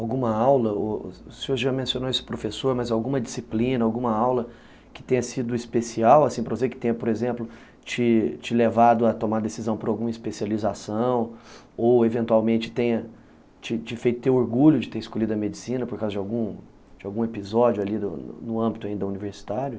Alguma aula, o u senhor já mencionou esse professor, mas alguma disciplina, alguma aula que tenha sido especial, assim, para você que tenha, por exemplo, te te levado a tomar decisão por alguma especialização, ou eventualmente tenha te te feito ter orgulho de ter escolhido a medicina por causa de algum episódio ali no âmbito ainda universitário?